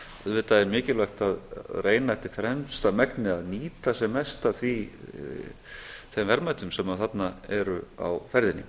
auðvitað er mikilvægt að reyna eftir fremsta megni að nýta sem mest af þeim verðmætum sem þarna eru á ferðinni